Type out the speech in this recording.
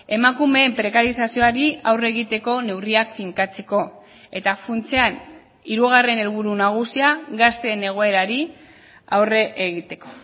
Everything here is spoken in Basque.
emakumeen prekarizazioari aurre egiteko neurriak finkatzeko eta funtsean hirugarren helburu nagusia gazteen egoerari aurre egiteko